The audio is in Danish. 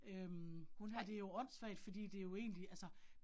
Øh hun har det jo åndssvagt fordi det jo egentlig altså